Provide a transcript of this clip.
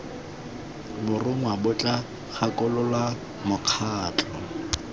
borongwa bo tla gakolola mokgatlho